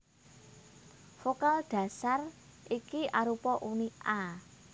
Vokal dhasar iki arupa uni a